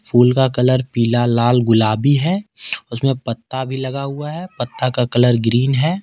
फूल का कलर पीला लाल गुलाबी है उसमें पत्ता भी लगा हुआ है पत्ता का कलर ग्रीन है।